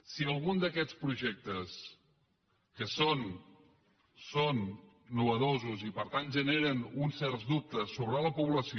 si algun d’aquests projectes que són innovadors i per tant generen uns certs dubtes sobre la població